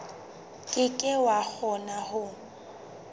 ke ke wa kgona ho